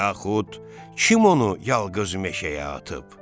Yaxud kim onu yalqız meşəyə atıb?